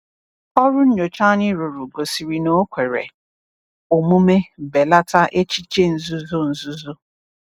"Ọrụ nyocha anyị rụrụ gosiri na o kwere omume belata echiche nzuzo nzuzo."